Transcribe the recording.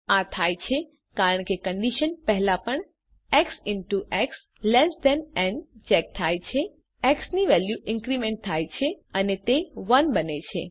આ થાય છે કારણ કે કન્ડીશન પહેલાં પણ x in two x less than ન ચેક થાય છે એક્સ ની વેલ્યુ ઇન્ક્રીમેન્ટ થાય છે અને તે 1 બને છે